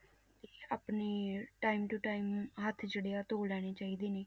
ਆਪਣੀ time to time ਹੱਥ ਜਿਹੜੇ ਆ ਧੋ ਲੈਣੇ ਚਾਹੀਦੇ ਨੇ,